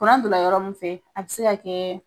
Kuran don la yɔrɔ min fɛ a bɛ se ka kɛ